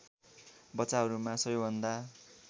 बच्चाहरूमा सबैभन्दा